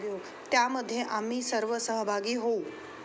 त्यामध्ये आम्ही सर्व सहभागी होऊ.